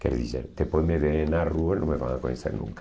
Quer dizer, depois me veem na rua e não me vão a conhecer nunca.